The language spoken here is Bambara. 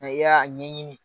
Nɛ i y'a ɲɛɲini